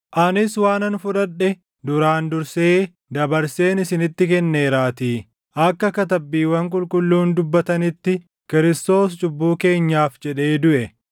Kana malees Waaqni Kiristoosin duʼaa kaaseera jennee waaʼee Waaqaa waan dhugaa baaneef, nu waaʼee Waaqaa dhuga baatota sobaa taanee argamneerra. Garuu erga warri duʼan hin kaafamin inni Kiristoosin hin kaafne jechuu dha.